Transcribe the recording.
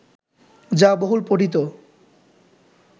যা বহুল পঠিত